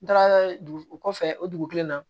N taara dugu kɔfɛ o dugu kelen na